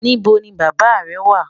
Níbọ̀ ni bàbá rẹ̀ wà?